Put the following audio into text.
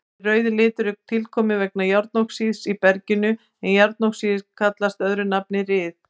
Þessi rauði litur er tilkominn vegna járnoxíðs í berginu en járnoxíð kallast öðru nafni ryð.